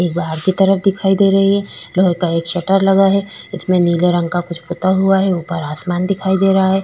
एक बाहर की तरफ दिखाई दे रही है लोहे का एक शटर लगा है इसमें नीले रंग का कुछ पुता हुआ है ऊपर आसमान दिखाई दे रहा है।